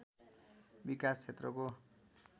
विकास क्षेत्रको